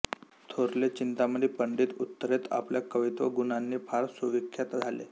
थोरले चिंतामणी पंडीत उत्तरेत आपल्या कवित्व गुणांनी फार सुविख्यात झाले